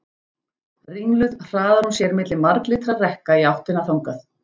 Ringluð hraðar hún sér milli marglitra rekka í áttina þangað.